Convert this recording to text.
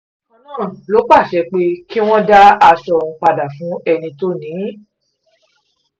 bákan náà ló pàṣẹ pé kí wọ́n dá aṣọ ọ̀hún padà fún ẹni tó ni ín